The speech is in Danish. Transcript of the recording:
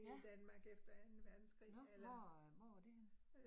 Ja. Nåh, hvor hvor var det henne